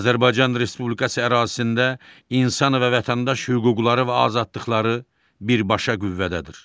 Azərbaycan Respublikası ərazisində insan və vətəndaş hüquqları və azadlıqları birbaşa qüvvədədir.